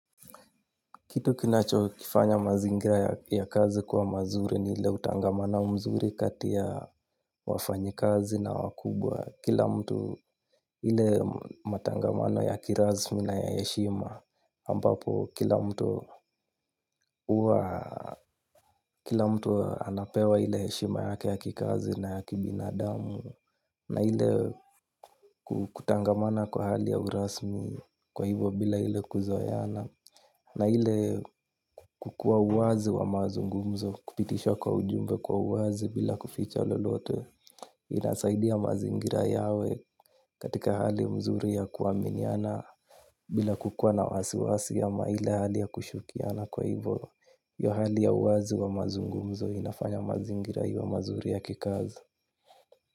Kitu kinachofanya mazingira ya kazi kwa mazuri ni ile utangamano mzuri kati ya wafanyikazi na wakubwa. Kila mtu ile matangamano ya kirasmi na ya heshima ambapo kila mtu huwa kila mtu anapewa ile yeshima yake ya kikazi na ya kibinadamu. Na ile kutangamana kwa hali ya urasmi kwa hivyo bila ile kuzoeana. Na ile kukuwa uwazi wa mazungumzo kupitisha kwa ujumbe kwa uwazi bila kuficha lolote. Inasaidia mazingira yawe katika hali mzuri ya kuaminiana. Bila kukua na wasiwasi ama ile hali ya kushukiana kwa hivyo hiyo hali ya uwazi wa mazungumzo inafanya mazingira iwe mazuri ya kikazi.